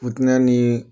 Futinɛ ni